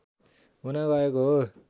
हुन गएको हो